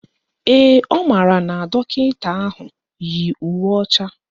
Ee, ọ maara na dọkịta ahụ yi uwe ọcha